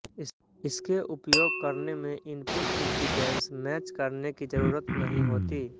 इसके उपयोग करने में इनपुट इंपीडेंस मैच करने की जरूरत नहीं होती